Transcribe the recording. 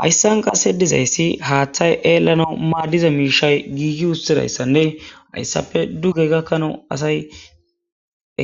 Hayissan qasedizayss haththay ellanass madiza mishay gigi utidayissanne hayissappe duge gakanaw asay